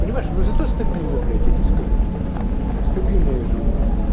понимаешь но зато стабильно блять я тебе скажу стабильно я живу